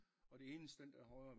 Og det eneste den dér højre